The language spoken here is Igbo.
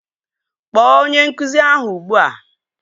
Kpọọ onye nkụzi ahụ ugbua!